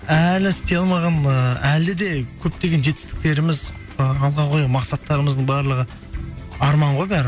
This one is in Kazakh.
әлі істей алмаған ыыы әлі де көптеген жетістіктеріміз ы алға қойған мақсаттырымыздың барлығы арман ғой бәрі